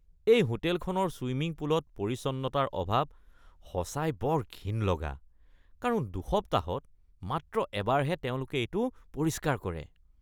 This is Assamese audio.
এই হোটেলখনৰ ছুইমিং পুলত পৰিচ্ছন্নতাৰ অভাৱ সঁচাই বৰ ঘিণ লগা কাৰণ দুসপ্তাহত মাত্ৰ এবাৰহে তেওঁলোকে এইটো পৰিষ্কাৰ কৰে।